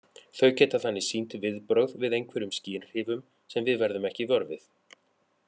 Þau geta þannig sýnt viðbrögð við einhverjum skynhrifum sem við verðum ekki vör við.